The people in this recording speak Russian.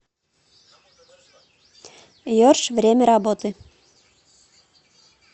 ершъ время работы